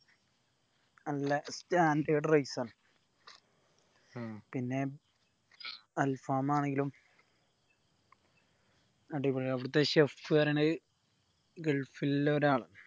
നല്ല standard rice ആണ് ഉം പിന്നെ al faham ആണെങ്കിലും അടിപൊളി ആണ് അവിടത്തെ chef പറീണത് gulf ൽ ഉള്ള ഒരാളാ